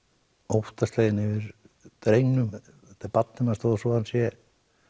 óttasleginn yfir drengnum þetta er barnið manns þótt hann sé